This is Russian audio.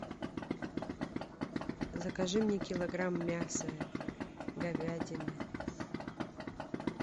закажи мне килограмм мяса говядины